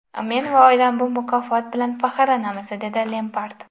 Men va oilam bu mukofot bilan faxrlanamiz”, dedi Lempard.